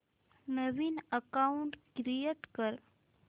नवीन account create कर